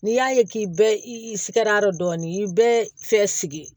N'i y'a ye k'i bɛ sigɛr'a dɔn i ye bɛɛ fɛ